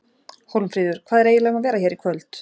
Hólmfríður, hvað er eiginlega um að vera hér í kvöld?